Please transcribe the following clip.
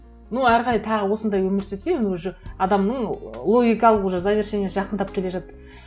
ну әрі қарай тағы осындай өмір сүрсең уже адамның логикалық уже завершение жақындап келе жатыр